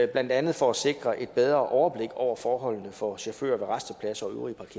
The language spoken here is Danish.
blandt andet for at sikre et bedre overblik over forholdene for chauffører ved rastepladser